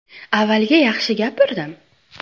Avvaliga yaxshi gapirdim.